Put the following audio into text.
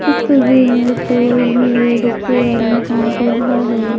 इस तस्वीर में एक टेबल भी है जिस पे आदमी काम कर रहा है।